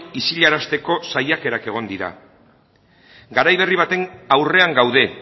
isilarazteko saiakerak egon dira garai berri baten aurrean gaude